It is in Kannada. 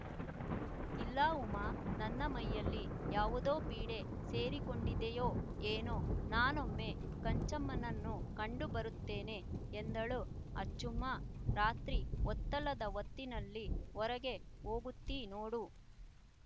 ಇಲ್ಲ ಉಮ್ಮಾ ನನ್ನ ಮೈಯಲ್ಲಿ ಯಾವುದೋ ಪೀಡೆ ಸೇರಿಕೊಂಡಿದೆಯೋ ಏನೊ ನಾನೊಮ್ಮೆ ಕಂಜಮ್ಮನನ್ನು ಕಂಡು ಬರುತ್ತೇನೆ ಎಂದಳು ಆಚುಮ್ಮ ರಾತ್ರಿ ಹೊತ್ತಲ್ಲದ ಹೊತ್ತಿನಲ್ಲಿ ಹೊರಗೆ ಹೋಗುತ್ತೀ ನೋಡು